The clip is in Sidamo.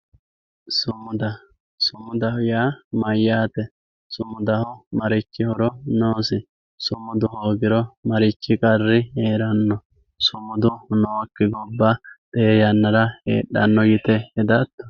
Sumuda sumudaho yaa mayate sumudaho marichi horo noosi sumudu hoogiro marichi qarri heerano sumudu nooki gobba tee yanara heedhano yite hedato.